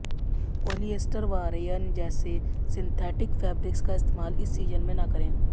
polyester व rayon जैसे synthetic fabrics का इस्तेमाल इस सीजन में न करें